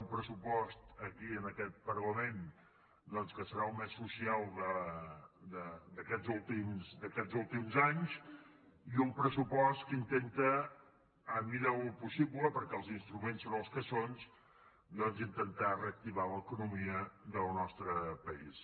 un pressupost aquí en aquest parlament que serà el més social d’aquests últims anys i un pressupost que intenta en la mesura del possible perquè els instruments són els que són reactivar l’economia del nostre país